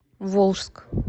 волжск